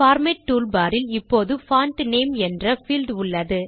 format tool bar இல் இப்போது font name என்ற பீல்ட் உள்ளது